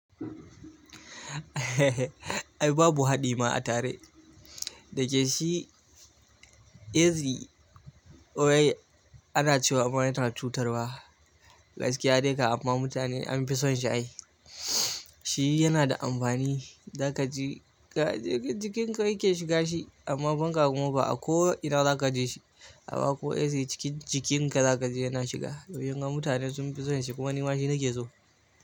Ai babu haɗi ma a tare. Dake shi easy oil ana cewa amma yana cutarwa. Gaskiya dai ka amma mutane an fi son shi ai. Shi yana da amfani, za ka ji jikin ka yake shiga shi amma fanƙa kuma ba a ko ina za ka ji shi. A ba ko easy cikin jikin ka za ka ji yana shiga. Saboda hawan mutane sun fi son shi kuma ni ma shi nake so.